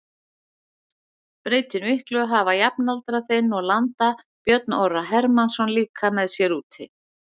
Breytir miklu að hafa jafnaldra þinn og landa Björn Orra Hermannsson líka með sér úti?